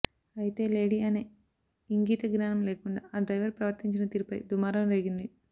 అయితే లేడీ అనే ఇంగీత జ్ఞానం లేకుండా ఆ డ్రైవర్ ప్రవర్తించిన తీరుపై దుమారం రేగింది